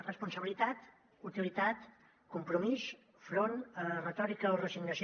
responsabilitat utilitat compromís enfront retòrica o resignació